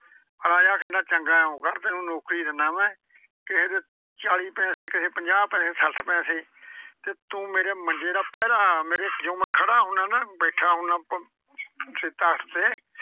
ਰਾਜਾ ਕਹਿੰਦਾ ਚੰਗਾ ਇਉਂ ਕਰ ਤੈਨੂੰ ਨੌਕਰੀ ਦਿੰਦਾ ਮੈਂ। ਕਿਸੇ ਦੇ ਚਾਲੀ ਪੈਸੇ, ਕਿਸੇ ਦੇ ਪੰਜਾਹ ਪੈਸੇ ਸੱਠ ਪੈਸੇ ਤੇ ਤੂੰ ਮੇਰੇ ਮੰਜੇ ਦਾ ਪਹਿਰਾ ਲਾ। ਮੇਰੇ ਜਦੋਂ ਮੈਂ ਖੜਾ ਹੁਨਾ ਜਾਂ ਬੈਠਾ ਹੁਨਾ ਆ ਪਿੱਛੇ ਤਖ਼ਤ ਦੇ,